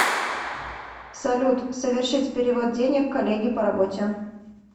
салют совершить перевод денег коллеге по работе